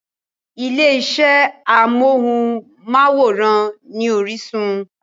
Ilé iṣẹ́ amóhùnmáwòrán ni Orísun.